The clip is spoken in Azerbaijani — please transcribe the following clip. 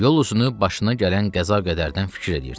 Yolunu başına gələn qəza qədərdən fikir eləyirdi.